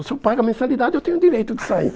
Se eu pago a mensalidade, eu tenho o direito de sair.